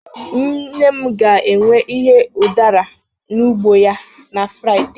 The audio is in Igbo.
nne m ga-ewe ihe udara n'ugbo ya na Friday